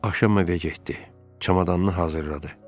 Axşam evə getdi, çamadanını hazırladı.